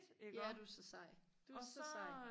ja du er så sej du så sej